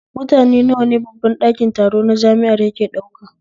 Mutane nawa ne babban ɗakin taro na jami'a yake ɗauka?